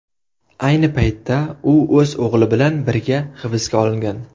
Ayni paytda u o‘z o‘g‘li bilan birga hibsga olingan.